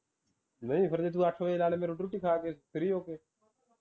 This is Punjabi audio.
ਨਹੀਂ ਫੇਰ ਜੇ ਤੂੰ ਅੱਠ ਵਜੇ ਲਾਲੇ ਰੋਟੀ ਰੂਟੀ ਖਾਕੇ free ਹੋਕੇ